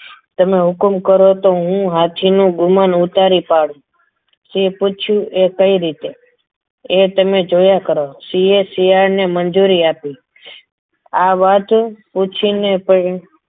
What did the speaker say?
તમે હુકુમ કરો તો હું હાથીનું ગુમાન ઉતારી પાડુ સિંહને પૂછ્યું એ કેવી રીતે એ તમે જોયા કરો સિંહે શિયાળ ને મંજૂરી આપી આ વાત પૂછીને પણ